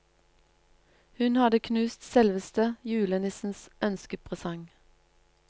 Hun hadde knust selveste julenissens ønskepresang.